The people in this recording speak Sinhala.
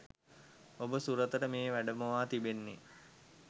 ඔබ සුරතට මේ වැඩමවා තිබෙන්නේ